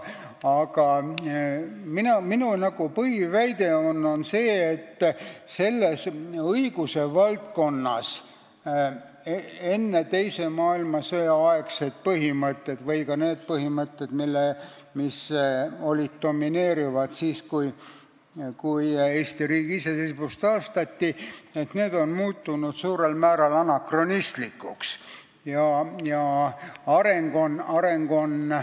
Aga minu põhiväide on see, et selles õiguse valdkonnas enne teist maailmasõda kehtinud põhimõtted ja ka need põhimõtted, mis domineerisid siis, kui Eesti riigi iseseisvus taastati, on suurel määral anakronistlikuks muutunud.